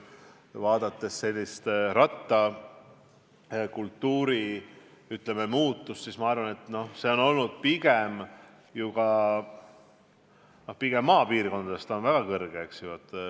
Vaadates meie rattakultuuri muutust, ma arvan, et see on olnud pigem maapiirkondades väga suur.